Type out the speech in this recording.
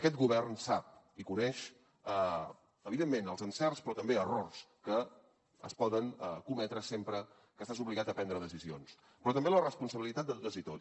aquest govern sap i coneix evidentment els encerts però també errors que es poden cometre sempre que estàs obligat a prendre decisions però també la responsabilitat de totes i tots